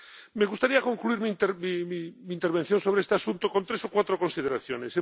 Me gustaría concluir mi intervención sobre este asunto con tres o cuatro consideraciones.